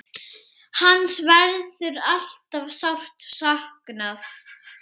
Hans verður alltaf sárt saknað.